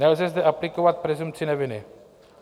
Nelze zde aplikovat presumpci neviny.